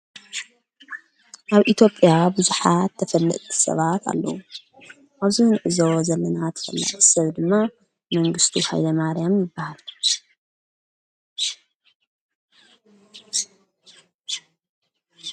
ኣብ ኢቲጴያ ብዙኃት ተፈልጥቲ ሰባት ኣሉዉ ኣዙ ንእዞ ዘለና ተፈል ሰብ ድማ መንግሥቱ ኃይለ ማርያም ይበሃል።